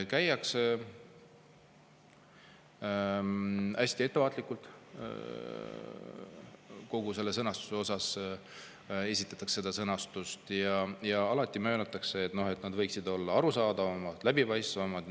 Hästi ettevaatlikult püütakse seda sõnastada ja alati mööndakse, et võiks olla arusaadavam, läbipaistvam.